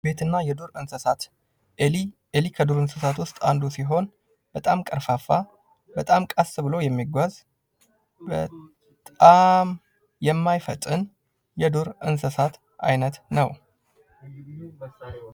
ቤትና የዱር እንስሳት ኤሊ ከዱር እንስሳት ውስጥ አንዷ ስትሆን በጣም ከርፋፋ በጣም ቀስ ብሎ የሚጓዝ በጣም የማይፈጥን የዱር እንስሳት አይነት ነው።